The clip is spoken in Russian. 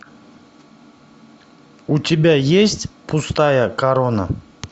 у тебя есть пустая корона